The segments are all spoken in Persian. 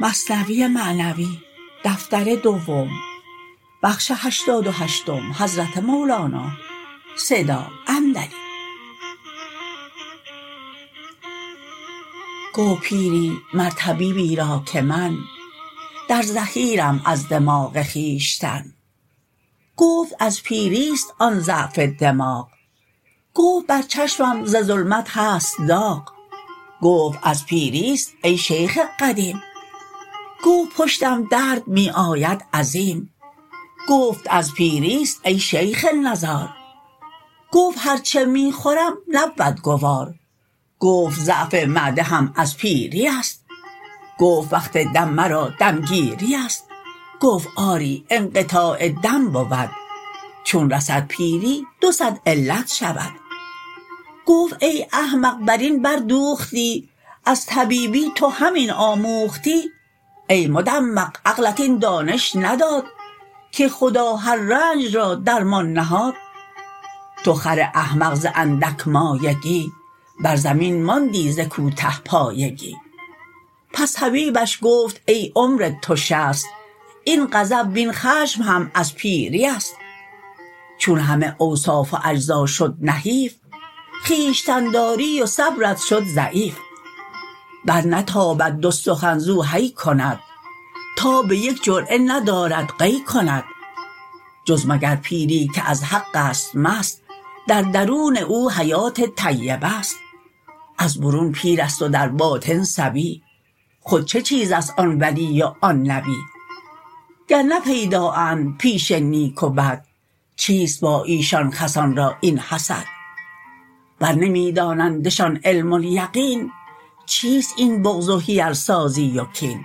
گفت پیری مر طبیبی را که من در زحیرم از دماغ خویشتن گفت از پیریست آن ضعف دماغ گفت بر چشمم ز ظلمت هست داغ گفت از پیریست ای شیخ قدیم گفت پشتم درد می آید عظیم گفت از پیریست ای شیخ نزار گفت هر چه می خورم نبود گوار گفت ضعف معده هم از پیریست گفت وقت دم مرا دمگیریست گفت آری انقطاع دم بود چون رسد پیری دو صد علت شود گفت ای احمق برین بر دوختی از طبیبی تو همین آموختی ای مدمغ عقلت این دانش نداد که خدا هر رنج را درمان نهاد تو خر احمق ز اندک مایگی بر زمین ماندی ز کوته پایگی پس طبیبش گفت ای عمر تو شصت این غضب وین خشم هم از پیریست چون همه اوصاف و اجزا شد نحیف خویشتن داری و صبرت شد ضعیف بر نتابد دو سخن زو هی کند تاب یک جرعه ندارد قی کند جز مگر پیری که از حقست مست در درون او حیات طیبه ست از برون پیرست و در باطن صبی خود چه چیزست آن ولی و آن نبی گر نه پیدااند پیش نیک و بد چیست با ایشان خسان را این حسد ور نمی دانندشان علم الیقین چیست این بغض و حیل سازی و کین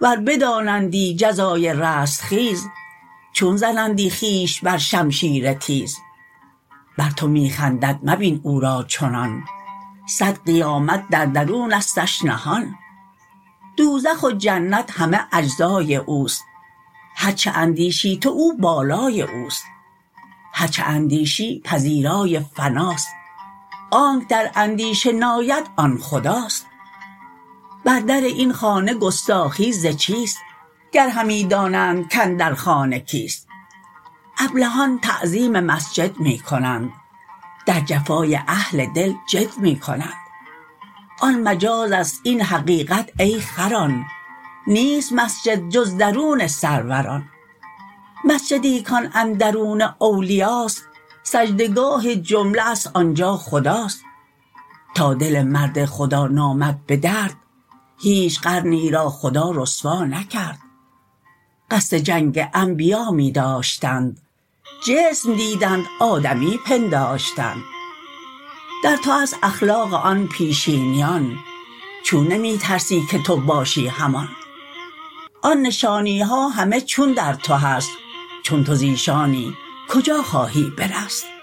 ور بدانندی جزای رستخیز چون زنندی خویش بر شمشیر تیز بر تو می خندد مبین او را چنان صد قیامت در درونستش نهان دوزخ و جنت همه اجزای اوست هرچه اندیشی تو او بالای اوست هرچه اندیشی پذیرای فناست آنک در اندیشه ناید آن خداست بر در این خانه گستاخی ز چیست گر همی دانند کاندر خانه کیست ابلهان تعظیم مسجد می کنند در جفای اهل دل جد می کنند آن مجازست این حقیقت ای خران نیست مسجد جز درون سروران مسجدی کان اندرون اولیاست سجده گاه جمله است آنجا خداست تا دل مرد خدا نآمد به درد هیچ قرنی را خدا رسوا نکرد قصد جنگ انبیا می داشتند جسم دیدند آدمی پنداشتند در تو هست اخلاق آن پیشینیان چون نمی ترسی که تو باشی همان آن نشانیها همه چون در تو هست چون تو زیشانی کجا خواهی برست